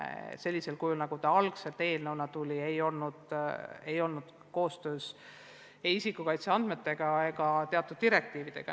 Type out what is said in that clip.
Sellisel kujul, nagu see ettepanek algselt eelnõuna tuli, ei olnud ta kooskõlas ei isikuandmete kaitse ega muude direktiividega.